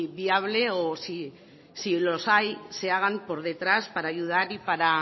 viable o si los hay se hagan por detrás para ayudar y para